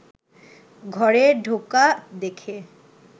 ঘরে ঢোকা দেখে